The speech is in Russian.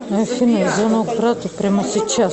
афина звонок брату прямо сейчас